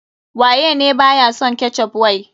Waye ne ba ya son ketchup wai.